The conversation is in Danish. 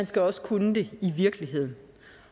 skal også kunne det i virkeligheden